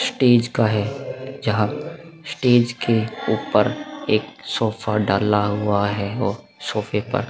stage का है जहाँ स्टेज के ऊपर एक सोफा डाला हुआ है और सोफे पर --